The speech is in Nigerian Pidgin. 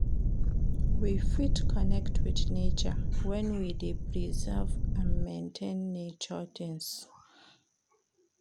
We fit connect with nature when we de preserve and maintain nature things